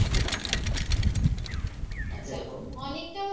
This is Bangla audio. আচ্ছা অনেকটা